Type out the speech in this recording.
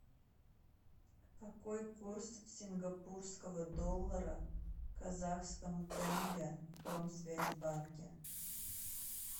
какой курс сингапурского доллара к казахскому тенге в промсвязьбанке